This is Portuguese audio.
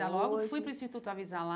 Saí da Logos, fui para o Instituto Avisalá,